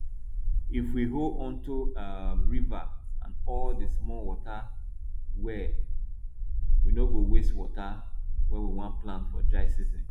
if we hold onto um river and all the small water well we no go waste water when we want plant for dry season